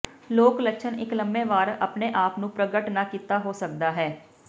ਲੋਕ ਲੱਛਣ ਇੱਕ ਲੰਮੇ ਵਾਰ ਆਪਣੇ ਆਪ ਨੂੰ ਪ੍ਰਗਟ ਨਾ ਕੀਤਾ ਹੋ ਸਕਦਾ ਹੈ